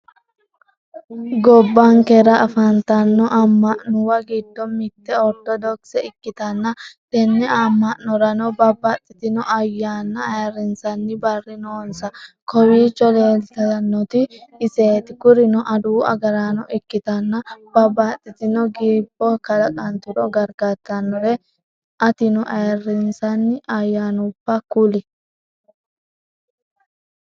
Gobbankera afantanno ama'nuwa giddo mitte ortodokise ikkitanna tenne ama'norano babaxitinno ayyanna ayirnsanni barri noonsa kowicho leeltanotino iset. Kurino adawu agarano ikkitanna babaxitinno giibbo ka'laqanturo gargartanoret. atino ayirinsanni ayanubba kuli?